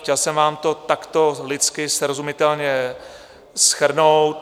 Chtěl jsem vám to takto lidsky, srozumitelně shrnout.